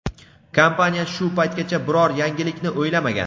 kompaniya shu paytgacha biror yangilikni o‘ylamagan.